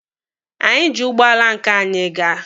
Anyị ji ụgbọala nke anyị ga.